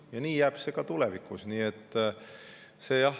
Ja nii jääb see ka tulevikus.